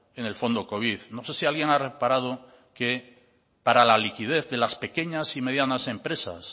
en el fondo covid no sé si alguien ha reparado que para la liquidez de las pequeñas y medianas empresas